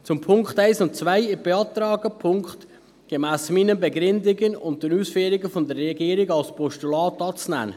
Zu den Punkten 1 und 2: Ich beantrage, die Punkte gemäss meinen Begründungen und den Ausführungen der Regierung als Postulat anzunehmen.